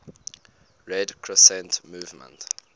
red crescent movement